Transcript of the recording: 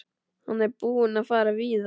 Hann er búinn að fara víða.